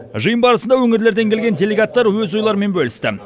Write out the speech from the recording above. жиын барысында өңірлерден келген делегаттар өз ойларымен бөлісті